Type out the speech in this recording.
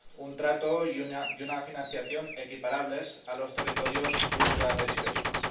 un trato y una financiación equiparables a los territorios ultraperiféricos.